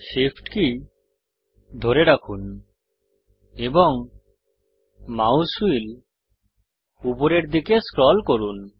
SHIFT key ধরে রাখুন এবং মাউস হুইল উপরের দিকে স্ক্রল করুন